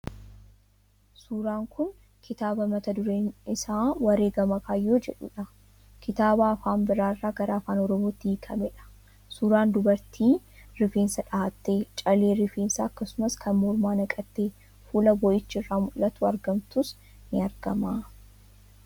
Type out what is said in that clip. Suuraan kun kitaaba mata dureen isaa wareegama kaayyoo jedhudha. Kitaaba afaan biraa irraa gara afaan Oromootti hiikamedha. Suuraan dubartii rifeensa dhahattee, callee rifeensaa akkasumas kan mormaa naqattee fuula boo'ichi irraa mul'atuun argamtus ni argama.